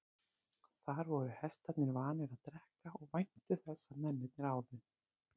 Þar voru hestarnir vanir að drekka og væntu þess að mennirnir áðu.